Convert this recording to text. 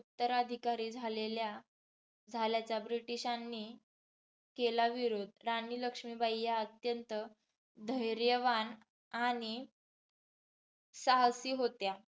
उत्तराधिकारी झालेल्या झाल्याचा ब्रिटिशांनी केला विरोध. राणी लक्ष्मीबाई या अत्यंत धैर्यवान आणि साहसी होत्या.